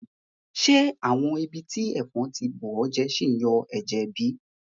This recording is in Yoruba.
Ṣe àwọn ibiti ẹfọn ti bùọjẹ ṣìn yọ ẹ́jẹ́ bi?